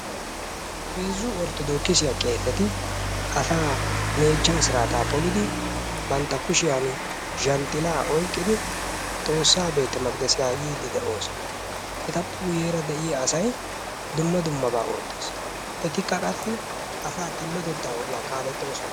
Heezzu orthodookisiyaa qeeseti asaa meechchaa siraataa polidi bantta kushiyaani zhanxxilaa oyqqidi xoossa beete meqdesiyaa yiiddi doosona etappe guyeera de'iyaa asay dumma dummabaa oottes etikka qassi asaa xillotettaa ogiyaa kaalettoosona.